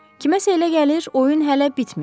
Kiməsə elə gəlir oyun hələ bitməyib.